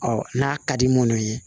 Ɔ n'a ka di minnu ye